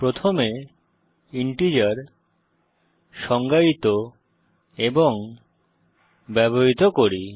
প্রথমে ইন্টিজার সংজ্ঞায়িত এবং ব্যবহৃত করি